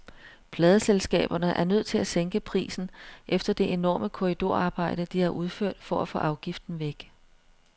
Pladeselskaberne er nødt til at sænke prisen efter det enorme korridorarbejde, de har udført for at få afgiften væk.